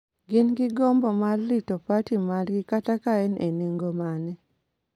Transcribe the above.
gin gi gombo mar rito parti margi kata ka en e nengo mane,